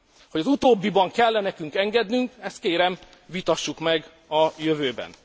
Hogy az utóbbiban kell e nekünk engednünk, ezt kérem, vitassuk meg a jövőben.